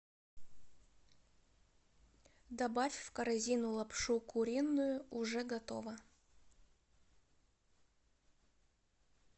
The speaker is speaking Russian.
добавь в корзину лапшу куриную уже готово